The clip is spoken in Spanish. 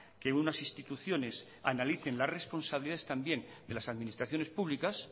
que unas instituciones analicen las responsabilidades también de las administraciones públicas